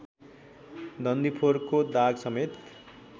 डन्डीफोरको दागसमेत